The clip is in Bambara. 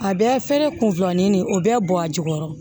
A bɛɛ fɛnɛ kun filanin de o bɛɛ bɔ a jukɔrɔ